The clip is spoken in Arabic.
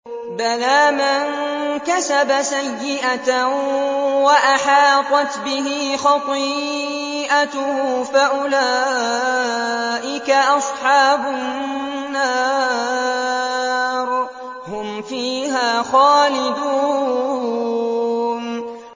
بَلَىٰ مَن كَسَبَ سَيِّئَةً وَأَحَاطَتْ بِهِ خَطِيئَتُهُ فَأُولَٰئِكَ أَصْحَابُ النَّارِ ۖ هُمْ فِيهَا خَالِدُونَ